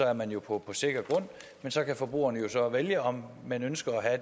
er man jo på sikker grund men så kan forbrugerne jo så vælge om man ønsker at